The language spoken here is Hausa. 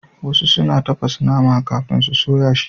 Wasu suna tafasa nama kafin su soya shi.